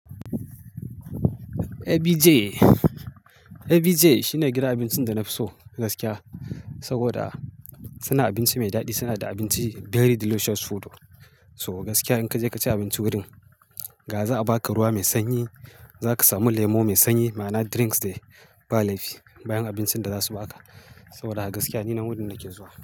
ABJ, ABJ shine gidan abincin da na fi so gaskiya. Saboda, suna abinci mai daɗi, suna da abinci very delicious food. So gaskiya in ka je ka ci abinci wurin, ga za'a baka ruwa mai sanyi, za ka samu lemo mai sanyi ma'ana drinks da ba laifi bayan abincin da za su baka. Saboda haka gaskiya ni nan wurin nake zuwa.